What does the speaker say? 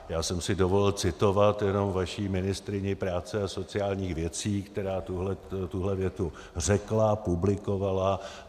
Já jsem si dovolil citovat jenom vaši ministryni práce a sociálních věcí, která tuhle větu řekla, publikovala.